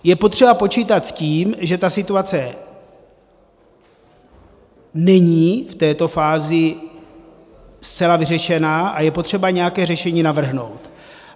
Je potřeba počítat s tím, že ta situace není v této fázi zcela vyřešena, a je potřeba nějaké řešení navrhnout.